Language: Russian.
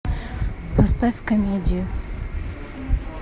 поставь комедию